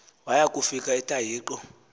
waya kufika entahiqo